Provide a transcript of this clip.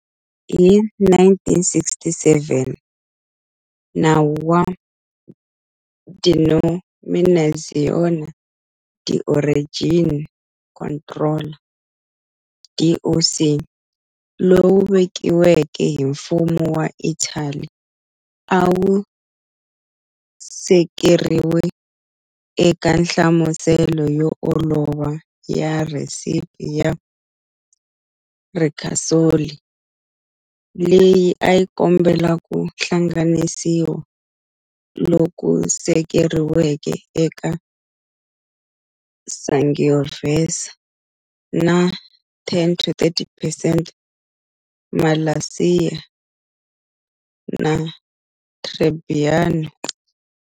Hi 1967, nawu wa"Denominazione di origine controllata", DOC, lowu vekiweke hi mfumo wa Italy awu sekeriwe eka nhlamuselo yo olova ya"recipe" ya Ricasoli, leyi ayi kombela ku hlanganisiwa loku sekeriweke eka Sangiovese na 10 to 30 percent Malvasia na Trebbiano.